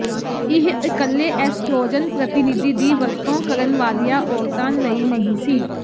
ਇਹ ਇਕੱਲੇ ਐਸਟ੍ਰੋਜਨ ਪ੍ਰਤੀਨਿਧੀ ਦੀ ਵਰਤੋਂ ਕਰਨ ਵਾਲੀਆਂ ਔਰਤਾਂ ਲਈ ਨਹੀਂ ਸੀ